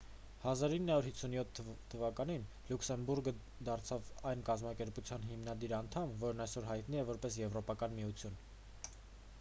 1957 թվականին լյուքսեմբուրգը դարձավ այն կազմակերպության հիմնադիր անդամ որն այսօր հայտնի է որպես եվրոպական միություն